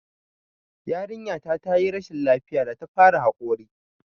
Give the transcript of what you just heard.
Jariraya ta yi rashin lafiya da ta fara haƙori